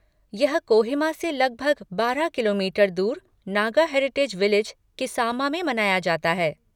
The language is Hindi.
यह कोहिमा से लगभग बारह किलोमीटर दूर नागा हेरिटेज विलेज, किसामा में मनाया जाता है।